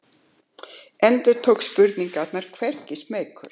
Endurtók spurninguna hvergi smeykur.